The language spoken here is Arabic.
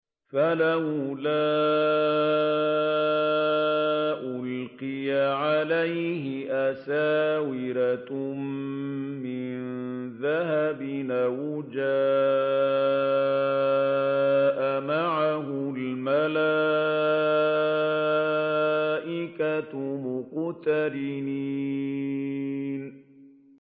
فَلَوْلَا أُلْقِيَ عَلَيْهِ أَسْوِرَةٌ مِّن ذَهَبٍ أَوْ جَاءَ مَعَهُ الْمَلَائِكَةُ مُقْتَرِنِينَ